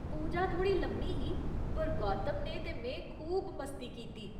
पूजा थोह्ड़ी लम्मी ही, पर गौतम ने ते में खूब मस्ती कीती।